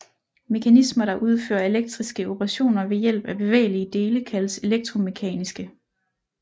Mekanismer der udfører elektriske operationer ved hjælp af bevægelige dele kaldes elektromekaniske